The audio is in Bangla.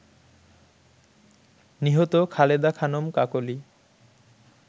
নিহত খালেদা খানম কাকলী